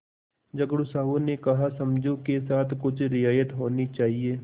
झगड़ू साहु ने कहासमझू के साथ कुछ रियायत होनी चाहिए